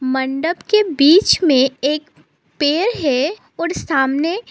मंडप के बीच में एक पेड़ है और सामने--